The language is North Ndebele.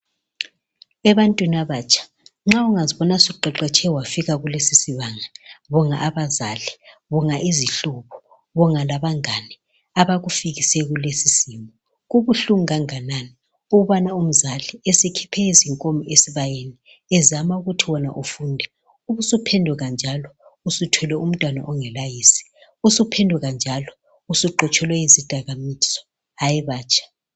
Ebantwini abatsha, nxa ungazibona usuqeqetshe wafika kulesi sibanga, bonga abazali, bonga izihlobo, bonga labangane, abakufikise kulesisimo. Kubuhlungu kanganani ukubana umzali esekhiphe izinkomo esibayeni, ezama ukuthi wena ufunde ,ubusuphenduka njalo uthwele umntwana ongelayise, ubusuphenduka njalo, usuxotshelwe izidakamizwa. Hayi batsha.